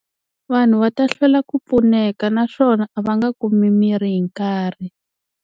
Vanhu va ta hlwela ku pfuneka naswona a va nga kumi mirhi hi nkarhi.